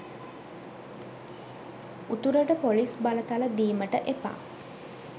උතුරට පොලිස් බලතල දීමට එපා